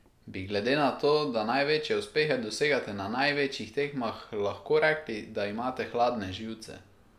Bi glede na to, da največje uspehe dosegate na največjih tekmah, lahko rekli, da imate hladne živce?